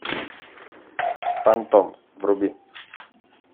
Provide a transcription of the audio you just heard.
фантом вруби